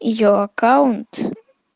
её аккаунт